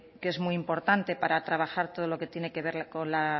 que es muy importante para trabajar todo lo que tiene que ver con la